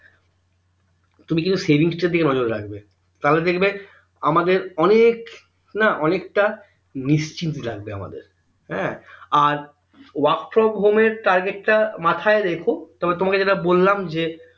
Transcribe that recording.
তুমি কিন্তু savings তার দিকে নজর রাখবে তাহলে দেখবে আমাদের অনেক না অনেকটা নিশ্চিন্ত লাগবে আমাদের হ্যাঁ আর work from home এর target টা মাথায় রেখো তোমাকে যেটা বললাম যে